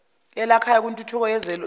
elakhayo kwintuthuko yezolimo